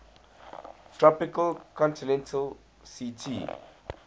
tropical continental ct